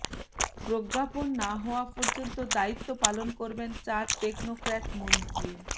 প্রজ্ঞাপন না হওয়া পর্যন্ত দায়িত্ব পালন করবেন চার টেকনোক্র্যাট মন্ত্রী